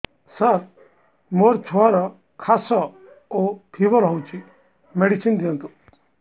ସାର ମୋର ଛୁଆର ଖାସ ଓ ଫିବର ହଉଚି ମେଡିସିନ ଦିଅନ୍ତୁ